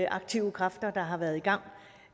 aktive kræfter der har været i gang